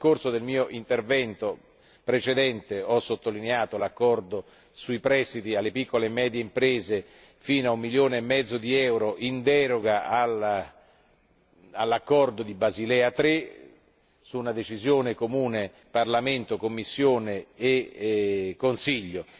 Nel corso del mio intervento precedente ho sottolineato l'accordo sui prestiti alle piccole e medie imprese fino a un milione e mezzo di euro, in deroga all'accordo di Basilea III, grazie a una decisione comune di Parlamento, Commissione e Consiglio.